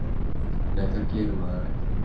Nei, það gerir maður ekki.